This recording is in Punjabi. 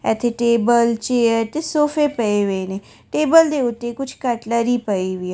ਇੱਥੇ ਟੇਬਲ ਚੇਅਰ ਤੇ ਸੋਫੇ ਪਏ ਵੇ ਨੇ ਟੇਬਲ ਦੇ ਉੱਤੇ ਕੁੱਝ ਕਟਲਰੀ ਪਈ ਵੇ --